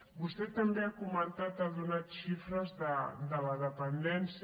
vostè també ha comentat ha donat xifres de la dependència